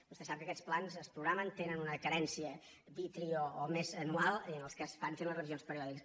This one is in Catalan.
vostè sap que aquests plans es programen tenen una carència bi tri o més anual i en els quals es van fent les revisions periòdiques